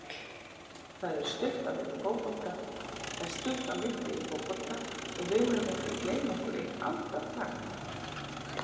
Það er stutt á milli í fótbolta og við megum ekki gleyma okkur eitt andartak.